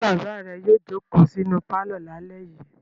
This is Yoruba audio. Ṣé bàbá rẹ yóò jókòó sínú pálọ̀ lálẹ́ yìí?